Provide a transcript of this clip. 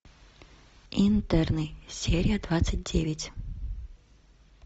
интерны серия двадцать девять